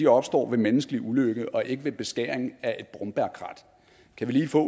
opstår ved menneskelig ulykke og ikke ved beskæring af et brombærkrat kan vi lige få